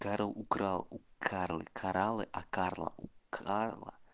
карл украл у карлы кораллы а карла у карла